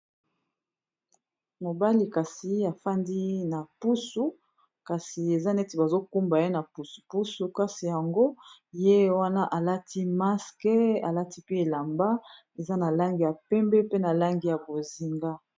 Mobali kasi afandi na pusu kasi eza neti bazo kumba ye na pusu pusu kasi yango ye wana alati maske alati pe elamba eza na langi ya pembe pe na langi ya bozinga.